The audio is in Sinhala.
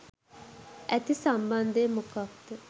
ඇති සම්බන්ධය මොකක්ද?